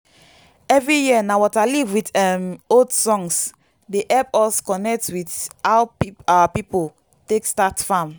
every year na waterleaf with um old songs dey help us connect with how our people take start farm.